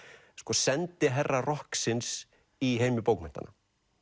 sendiherra rokksins í heimi bókmenntanna